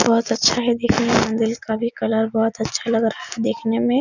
बहुत अच्छा है दिखने में मंदिर का भी कलर बहुत अच्छा लग रहा है देखने में।